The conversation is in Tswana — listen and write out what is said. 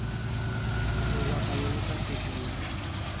lobaka lo lo sa feteng